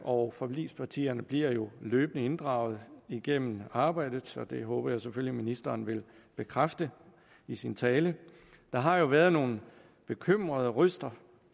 og forligspartierne bliver jo løbende inddraget igennem arbejdet så det håber jeg selvfølgelig ministeren vil bekræfte i sin tale der har jo været nogle bekymrede røster